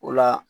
O la